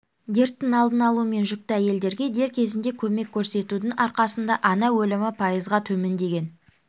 дерттің алдын алу мен жүкті әйелдерге дер кезінде көмек көрсетудің арқасында ана өлімі пайызға төмендеген